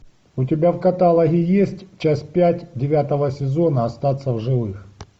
у тебя в каталоге есть часть пять девятого сезона остаться в живых